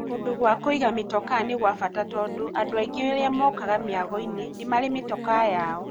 Kũndũ gwa kũiga mitokaa ni gwa bata tondũ andũ aingĩ arĩa mokaga mĩagoinĩ nĩ marĩ mĩtokaa yao.